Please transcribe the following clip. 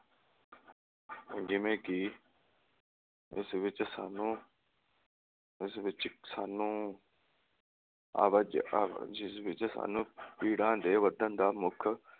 ਜਿਵੇਂ ਕਿ ਇਸ ਵਿਚ ਸਾਨੂੰ, ਇਸ ਵਿਚ ਸਾਨੂੰ ਆਵਾ ਆਵਾਜਾਈ ਜਿਸ ਵਿਚ ਸਾਨੂੰ ਭੀੜਾਂ ਦੇ ਵਧਣ ਦਾ ਮੁੱਖ